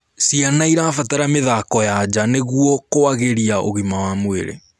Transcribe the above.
Ciana irabatara mithako ya njaa nĩguo kuagirĩa ũgima wa mwĩrĩ